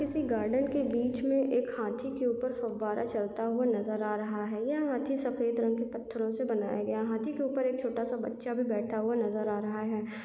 किसी गार्डन के बीच में एक हाथी के ऊपर फव्वारा चलता हुआ नज़र आ रहा है यहाँ हाथी सफ़ेद रंग के पत्थरो से बनाया गया हाथी के ऊपर एक छोटा-सा बच्चा भी बैठा हुआ नज़र आ रहा है।